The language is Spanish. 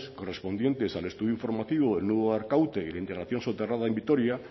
correspondientes al estudio informativo del nudo de arkaute y la integración soterrada en vitoria